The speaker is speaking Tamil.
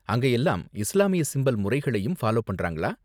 அங்க எல்லாம் இஸ்லாமிய சிம்பல் முறைகளையும் ஃபாலோ பண்றாங்களா?